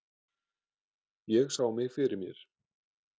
Ég sá mig fyrir mér.